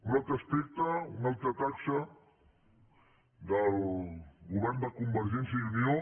un altre aspecte una altra taxa del govern de convergència i unió